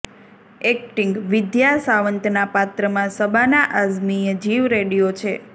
acting Vidya સાવંતના પાત્રમાં શબાના આઝમીએ જીવ રેડ્યો છે